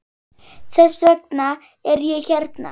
Þess vegna er ég hérna.